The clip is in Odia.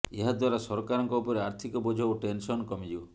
ଏହାଦ୍ୱାରା ସରକାରଙ୍କ ଉପରେ ଆର୍ଥିକ ବୋଝ ଓ ଟେନସନ କମିଯିବ